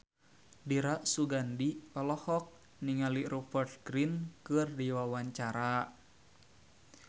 Dira Sugandi olohok ningali Rupert Grin keur diwawancara